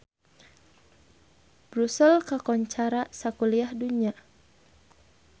Brussels kakoncara sakuliah dunya